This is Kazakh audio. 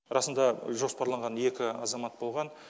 расында жоспарланған екі азамат болған